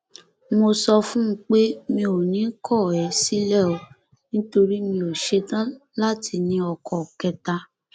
mo sọ fún un pé mi ò ní kọ ẹ sílẹ o nítorí mi ò ṣetán láti ní ọkọ kẹta